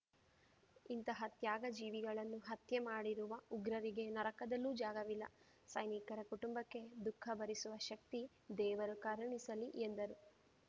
ಇಂತಹ ತ್ಯಾಗ ಜೀವಿಗಳನ್ನು ಹತ್ಯೆ ಮಾಡಿರುವ ಉಗ್ರರರಿಗೆ ನರಕದಲ್ಲೂ ಜಾಗವಿಲ್ಲ ಸೈನಿಕರ ಕುಟುಂಬಕ್ಕೆ ದುಖ ಭರಿಸುವ ಶಕ್ತಿ ದೇವರು ಕರುಣಿಸಲಿ ಎಂದರು